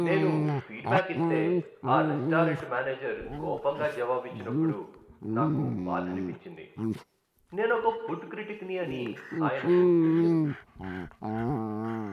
నేను feedback ఇస్తే ఆ రెస్టారెంట్ మేనేజర్ కోపంగా జవాబిచ్చినప్పుడు నాకు బాధనిపించింది. నేను ఒక ఫుడ్ క్రిటిక్ని అని ఆయనకు తెలియదు.